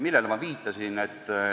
Millele ma viitasin?